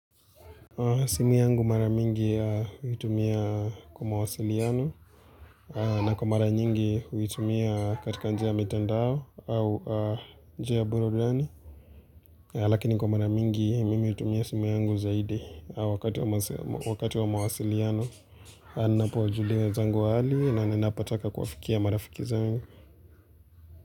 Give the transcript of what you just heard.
Simu yangu maramingi huitumia kwa mawasiliano na kwa mara nyingi huitumia katika njia ya mitandao au njia burudani Lakini kwa maramingi mimi huitumia simu yangu zaidi wakati wa mawasiliano Anapowa julia wenzangu hali na ninapotaka kuwa fikia marafiki zangu.